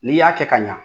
N'i y'a kɛ ka ɲa